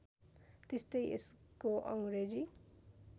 त्यस्तै यसको अङ्ग्रेजी